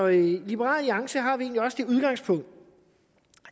i liberal alliance har vi egentlig også det udgangspunkt